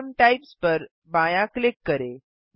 सामे types पर बायाँ click करें